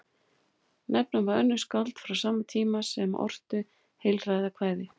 Nefna má önnur skáld frá sama tíma sem ortu heilræðakvæði.